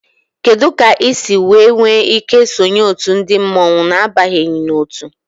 Kedu ka ị siri nwee ike isonye otu ndị mmọnwu a n'abanyeghị n'otu?